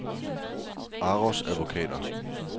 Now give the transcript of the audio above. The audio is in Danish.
Aros Advokater